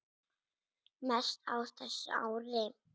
Mest á þessu ári.